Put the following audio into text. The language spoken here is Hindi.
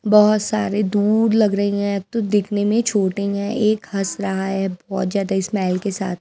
बहोत सारे दूध लग रही है तो दिखने में छोटी है एक हंस रहा है बहोत ज्यादा स्माइल के साथ--